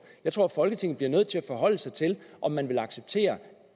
jeg tror at folketinget bliver nødt til at forholde sig til om man vil acceptere